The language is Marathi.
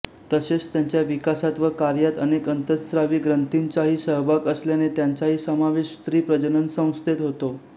तसेच त्यांच्या विकासात व कार्यात अनेक अंतःस्रावी ग्रंथींचाही सहभाग असल्याने त्यांचाही समावेश स्त्री प्रजननसंस्थेत होतो